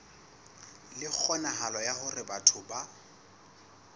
le kgonahalo ya hore batho